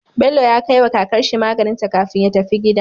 Bello ya kai wa kakar shi maganinta kafin ya tafi gida